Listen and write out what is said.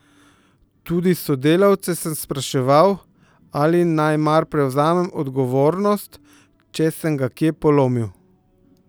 Tudi sodelavce sem spraševal, ali naj mar prevzamem odgovornost, če sem ga kje polomil.